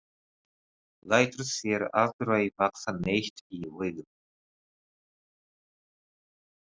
Lætur sér aldrei vaxa neitt í augum.